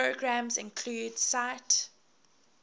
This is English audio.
programs include sight